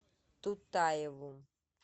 тутаеву